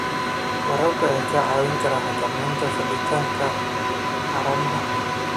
Waraabka ayaa kaa caawin kara xakamaynta fiditaanka haramaha.